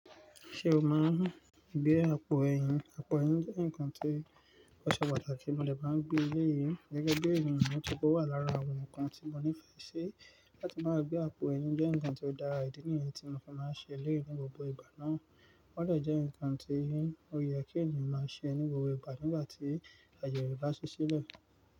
Ṣé o máa ń gbé àpò ẹyin? Àpò ẹyin jẹ́ nǹkan tí ó ṣe pàtàkì mó dè máa n gbé eléyìí. Gẹ́gẹ́ bí ènìyàn, nitori pe ọ́ wà lára àwọn nǹkan tí mo nífẹ̀ẹ́ ṣe láti máa gbé àpò ẹyin jẹ́ nǹkan tí ó dára, ìdí nìyẹn tí mo fi máa ń ṣe èléyi ní gbogbo ìgbà náà. Ó dè jẹ́ nǹkan tí ó yẹ kí ènìyàn máa ṣe ní gbogbo ìgbà nígbà tí àayè re bá sì ṣílẹ̀.